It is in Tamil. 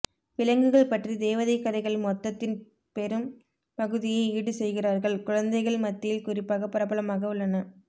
விலங்குகள் பற்றி தேவதை கதைகள் மொத்தத்தின் பெரும் பகுதியை ஈடு செய்கிறார்கள் குழந்தைகள் மத்தியில் குறிப்பாக பிரபலமாக உள்ளன